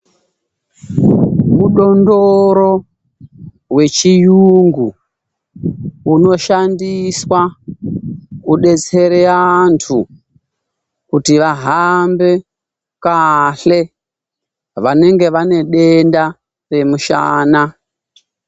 Mudondoro wechiyungu unoshandiswa kudetsere antu kuti vahambe kahle vanenge vane denda remushana.